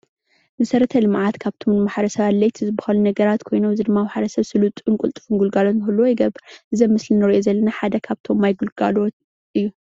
መሰረተ ልምዓት ሓደ ካብቶም ንማሕበረ ሰብ ኣድለይቲ ዝባሃሉ ነገራት ዝኮይኖም ኣብዚ ድማ ማሕበረ ሰብ ስሉጡን ቅልጡፉን ንክህልዎ ይገብር፡፡ እዚ ኣብ ምስሊ እንሪኦ ዘለና ማይ ግልጋሎት እዩ፡፡